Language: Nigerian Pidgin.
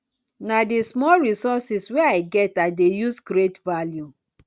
na di small resources wey i get i dey use create value